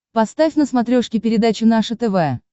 поставь на смотрешке передачу наше тв